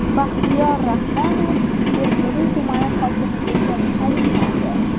Baxtiyor Rahmonov Sergeli tumani hokimi etib tayinlandi.